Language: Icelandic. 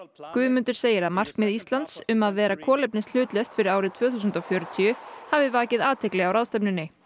Guðmundur segir að markmið Íslands um að vera kolefnishlutlaust fyrir árið tvö þúsund og fjörutíu hafi vakið athygli á ráðstefnunni